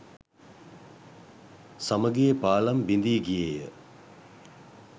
සමගියේ පාලම් බිඳී ගියේය